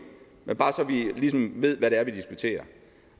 er bare så vi ligesom ved hvad det er vi diskuterer